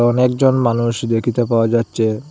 অনেক জন মানুষ দেখিতে পাওয়া যাচ্ছে।